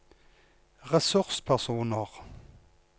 ressurspersoner